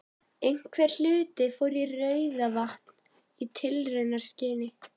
Einhver hluti fór í Rauðavatn í tilraunaskyni.